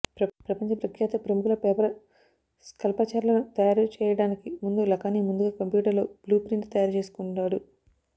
ప్రపంచ ప్రఖ్యాత ప్రముఖుల పేపర్ స్కల్పచర్లను తయారు చేయడానికి ముందు లఖానీ ముందుగా కంప్యూటర్లో బ్లూప్రింట్ తయారు చేసుకుంటాడు